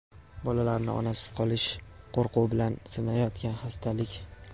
bolalarni onasiz qolish qo‘rquvi bilan sinayotgan xastalik.